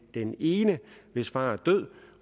ene hvis far er død